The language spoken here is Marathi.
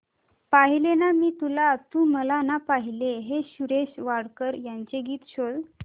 पाहिले ना मी तुला तू मला ना पाहिले हे सुरेश वाडकर यांचे गीत शोध